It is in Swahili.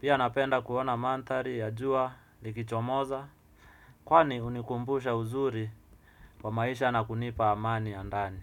Pia napenda kuona mandhari ya jua likichomoza kwani hunikumbusha uzuri wa maisha na kunipa amani ya ndani.